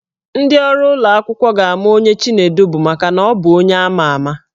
Ndị ọrụ ụlọ akwụkwọ ga-ama onye Chinedu bụ maka na ọ bụ onye ama ama.